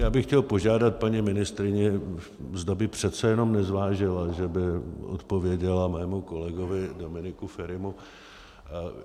Já bych chtěl požádat paní ministryni, zda by přece jenom nezvážila, že by odpověděla mému kolegovi Dominiku Ferimu.